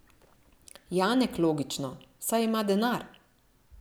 Janek, logično, saj ima denar.